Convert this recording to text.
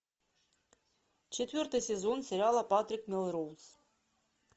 четвертый сезон сериала патрик мелроуз